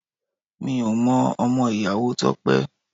Mi ò mọ ọmọ ìyàwó Tope